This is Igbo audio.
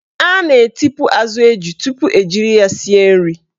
A na-etipu azụ eju tupu ejiri ya sie nri.